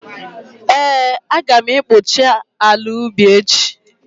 Ee, Aga m ekpocha ala ubi echi